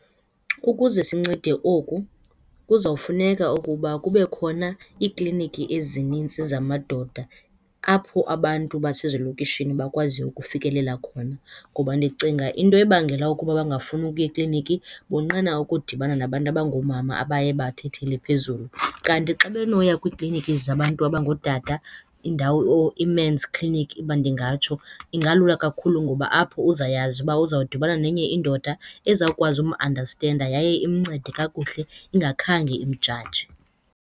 Ukuze sincede oku kuzawufuneka ukuba kube khona iikliniki ezinintsi zamadoda apho abantu basezilokishini bakwaziyo ukufikelela khona ngoba ndicinga into ebangela ukuba bangafuni ukuya ekliniki bonqena ukudibana nabantu abangoomama abaye bathathele phezulu. Kanti xa benoya kwiikliniki zabantu abangootata indawo, or ii-men's clinic, uba ndingatsho, ingalula kakhulu ngoba apho uzawuyazi uba uzawudibana nenye indoda ezawukwazi umandastenda yaye imncede kakuhle ingakhange imjaje.